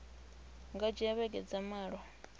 nga dzhia vhege dza malo